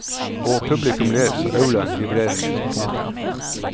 Og publikum ler så aulaen vibrerer. punktum